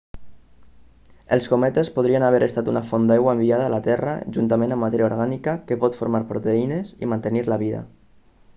els cometes podrien haver estat una font d'aigua enviada a la terra juntament amb matèria orgànica que pot formar proteïnes i mantenir la vida